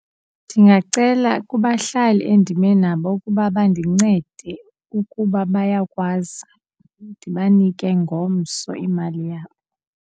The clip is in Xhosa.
Ndingacela kubahlali endime nabo ukuba bandincede ukuba bayakwazi ndibanike ngomso imali yabo.